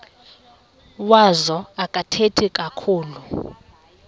wazo akathethi kakhulu